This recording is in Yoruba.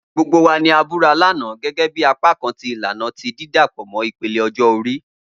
Gbogbo wa ni a bura lana, gẹgẹbi apakan ti ilana ti didapọ mọ ipele ọjọ-ori.